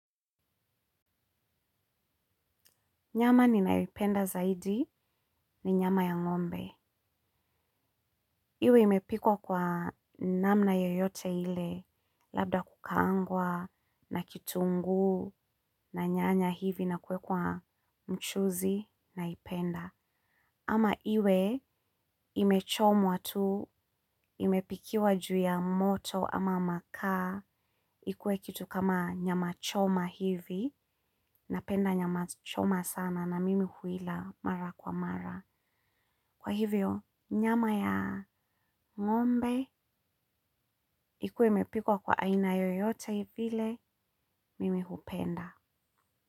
Nyama ninayoipenda zaidi ni nyama ya ngombe. Iwe imepikwa kwa namna yoyote ile labda kukaangwa na kitungu na nyanya hivi na kuwekwa mchuzi naipenda. Ama iwe imechomwa tu, imepikiwa juu ya moto ama makaa, ikue kitu kama nyamachoma hivi napenda nyamachoma sana na mimi huila mara kwa mara. Kwa hivyo nyama ya ngombe ikuwe imepikwa kwa aina yoyote vile mimi hupenda.